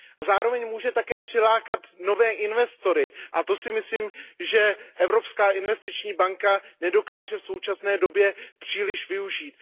Zároveň může také přilákat nové investory a to si myslím, že Evropská investiční banka nedokáže v současné době příliš využít.